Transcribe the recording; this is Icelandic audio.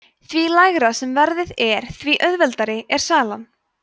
því lægra sem verðið er þeim mun auðveldari er salan